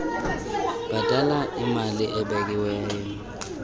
bhatala imali ebekiweyo